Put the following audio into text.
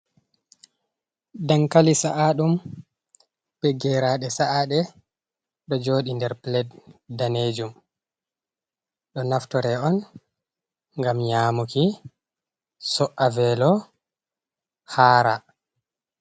Dankali sa’aɗum be geraaɗe sa’aaɗe ɗo jooɗi, nder pulet daneejum ,ɗo naftore on ngam nyamuki so’'a veelo haara.